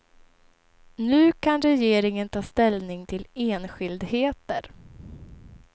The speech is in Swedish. Nu kan regeringen ta ställning till enskildheter.